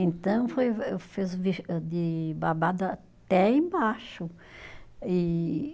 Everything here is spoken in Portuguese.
Então, foi fez o de babado até embaixo, e